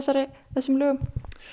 þessum lögum